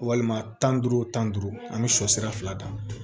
Walima tan ni duuru wo tan ni duuru an bi sɔ sira fila dan